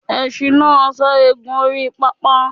Esin náà sáré gùn orí pápá